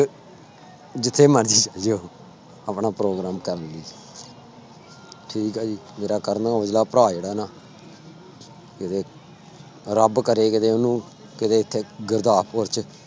ਜਿੱਥੇ ਮਰਜ਼ੀ ਚਲੇ ਜਾਇਓ ਆਪਣਾ program ਕਰਨ ਲਈ ਠੀਕ ਹੈ ਜੀ ਮੇਰਾ ਕਰਨ ਔਜਲਾ ਭਰਾ ਜਿਹੜਾ ਨਾ ਕਿਤੇ ਰੱਬ ਕਰੇ ਕਿਤੇ ਉਹਨੂੰ ਕਿਤੇ ਇੱਥੇ ਗੁਰਦਾਸਪੁਰ ਚ